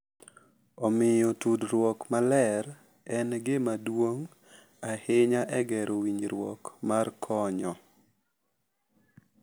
Omiyo, tudruok maler en gima duong’ ahinya e gero winjruok mar konyo.